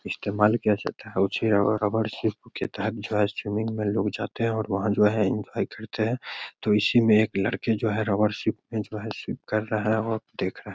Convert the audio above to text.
इस्तेमाल किया जाता है उसे और रबर स्विमिंग में लोग जाते हैं और इंजॉय करते हैं तब इसी में एक लड़के जो है रबर से कर रहा है और देख रहा है।